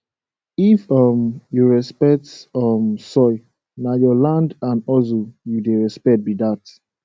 if um you respect um soil na your land and hustle you dey respect be dat